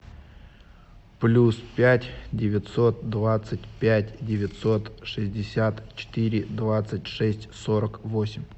плюс пять девятьсот двадцать пять девятьсот шестьдесят четыре двадцать шесть сорок восемь